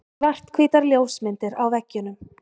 Svarthvítar ljósmyndir á veggjunum.